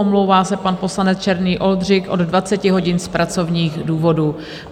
Omlouvá se pan poslanec Černý Oldřich od 20 hodin z pracovních důvodů.